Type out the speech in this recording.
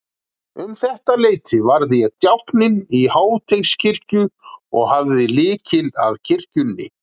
Um þetta leyti varð ég djákni í Háteigskirkju og hafði lykil að kirkjunni.